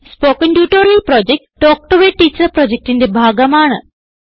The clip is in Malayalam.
spoken tutorial project talk to a teacher പ്രൊജക്റ്റിന്റെ ഭാഗമാണ്